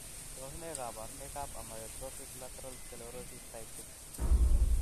Tos nee koborunoikab Amyotrophic lateral sclerosis type 6?